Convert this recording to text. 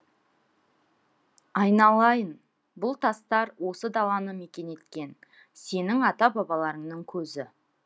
айналайын бұл тастар осы даланы мекен еткен сенің ата бабаларыңның көзі